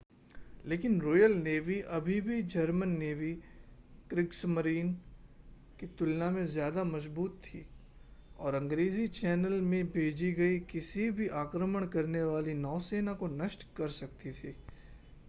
लेकिन royal navy अभी भी जर्मन नेवी क्रिग्समरीन” की तुलना में ज़्यादा मज़बूत थी और अंग्रेज़ी चैनल में भेजी गई किसी भी आक्रमण करने वाली नौसेना को नष्ट कर सकती थी